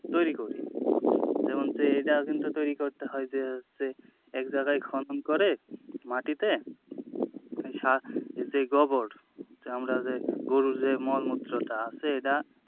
তৈরি করি যেমন যে এটাও কিন্তু তৈরি করতে হয় যে হচ্ছে এক জায়গায় খনন করে মাটিতে সার যে গোবর যে আমরা যে গরুর যে মলমুত্রটা আছে এটা,